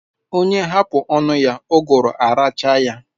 Onye hapu onu ya uguru arachaa ya